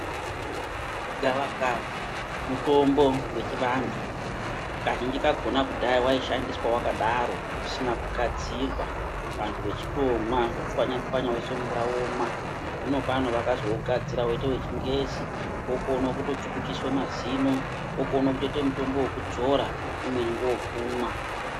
Gavakava mutombo wechivantu kazhinji kakona kudhaya waishandiswa wakadaro usina kugadzirwa vantu vechitomwa vochwanya-chwanya voise mumvura vomwa. Hino pano vakazougadzira woite wechingezi wokone kutochukuchiswa mazino, wokone kutoite mutombo wokudzora, umweni ngowokumwa.